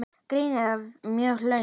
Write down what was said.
Greinin var mjög löng.